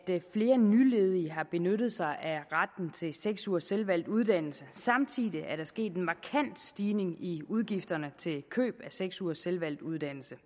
flere nyledige har benyttet sig af retten til seks ugers selvvalgt uddannelse samtidig er der sket en markant stigning i udgifterne til køb af seks ugers selvvalgt uddannelse